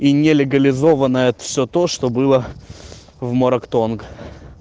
и нелегализованная всё то что было в мораг тонг